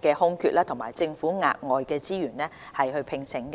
的空缺及政府額外資源聘請。